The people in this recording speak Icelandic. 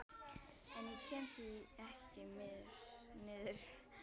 En ég kem því ekki niður.